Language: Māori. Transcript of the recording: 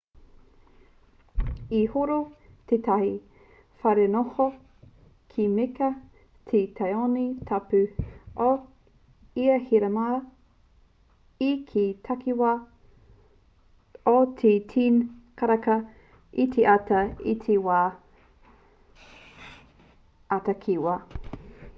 i horo tētahi wharenoho ki mecca te tāone tapu o ihirama i te takiwā o te 10 karaka i te ata i te wā ā-takiwa